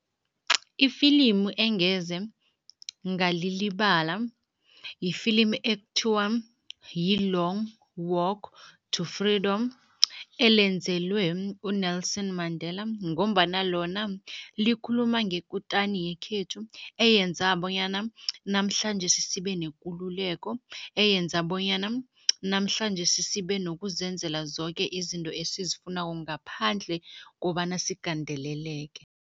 Ifilimu engeze ngalilibala yifilimi ekuthiwa yi-Long Walk to Freeedom elenzelwe u-Nelson Mandela ngombana lona likhuluma ngekutani yekhethu, eyenza bonyana namhlanjesi sibe nekululeko, eyenza bonyana namhlanjesi sibe nokuzenzela zoke izinto esizifunako ngaphandle kobana sigandeleleke.